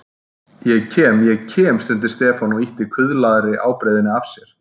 Ég kem, ég kem stundi Stefán og ýtti kuðlaðri ábreiðunni af sér.